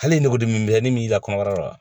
Hali ni nugu diminen b'i la kɔnɔbara la